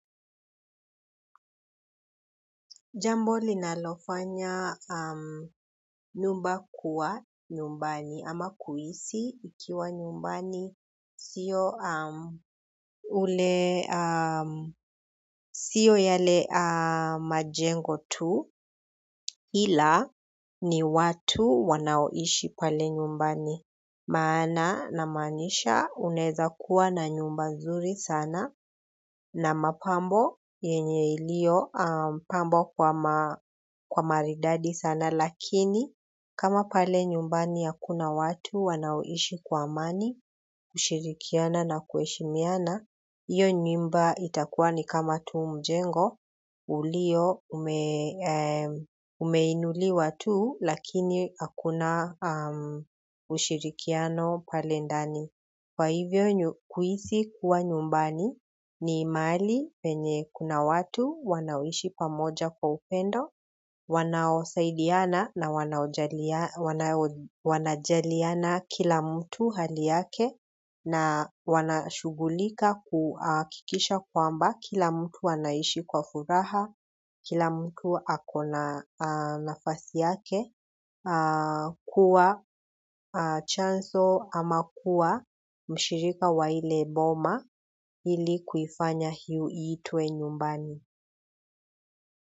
Jambo linalofanya nyumba kuwa nyumbani ama kuhisi ikiwa nyumbani sio yale majengo tu ila ni watu wanaoishi pale nyumbani. Maana namaanisha unaeza kuwa na nyumba nzuri sana na mapambo yenye ilio pambwa kwa maridadi sana lakini kama pale nyumbani hakuna watu wanaoishi kwa amani kushirikiana na kuheshimiana. Hiyo nyumba itakuwa tu ni kama mjengo umeinuliwa tu lakini hakuna ushirikiano pale ndani kwa hivyo kuhisi kuwa nyumbani ni mahali penye kuna watu wanaoishi pamoja kwa upendo, wanaosaidiana na wanajaliana kila mtu hali yake na wanashughulika kuhakikisha kwamba kila mtu anaishi kwa furaha, kila mtu ako na nafasi yake. Kuwa chanzo ama kuwa mshirika wa ile boma ili kuifanya iitwe nyumbani.